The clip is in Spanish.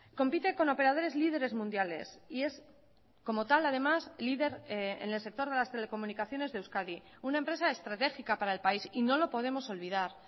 compite con operadores líderes mundiales y es como tal además líder en el sector de las telecomunicaciones de euskadi una empresa estratégica para el país y no lo podemos olvidar